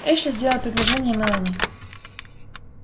эшли сделал предложение мелани